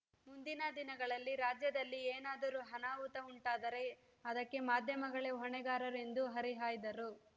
ಮುಂದಿನ ದಿನಗಳಲ್ಲಿ ರಾಜ್ಯದಲ್ಲಿ ಏನಾದರೂ ಅನಾಹುತ ಉಂಟಾದರೆ ಅದಕ್ಕೆ ಮಾಧ್ಯಮಗಳೇ ಹೊಣೆಗಾರರು ಎಂದು ಹರಿಹಾಯ್ದರು